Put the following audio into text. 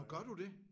Nåh gør du det?